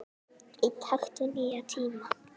Í takt við nýja tíma.